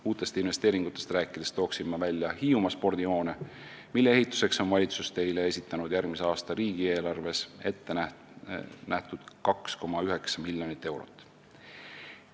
Uutest investeeringutest rääkides toon välja Hiiumaa spordihoone, mille ehituseks on valitsus järgmise aasta riigieelarves ette näinud 2,9 miljonit eurot.